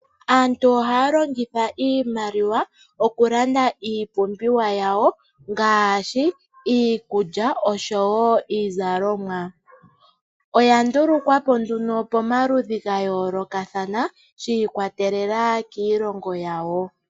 Aantu ohaya longitha iimaliwa okulanda iipumbiwa yawo ngaashi iikulya niizalomw. Oya ndulukwapo pomaludhi ga yoolokathana shi ikwatelela kiilongo yawo.